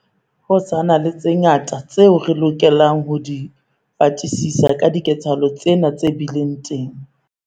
Ho sa na le tse ngata tseo re lokelang ho di fatisisa ka diketsahalo tsena tse bileng teng.